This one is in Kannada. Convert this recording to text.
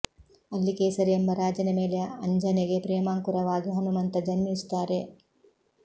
ಅಲ್ಲಿ ಕೇಸರಿ ಎಂಬ ರಾಜನ ಮೇಲೆ ಅಂಜನೆಗೆ ಪ್ರೇಮಾಂಕುರವಾಗಿ ಹನುಮಂತ ಜನ್ಮಿಸುತ್ತಾರೆ